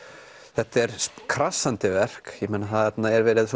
þetta er krassandi verk ég meina þarna er verið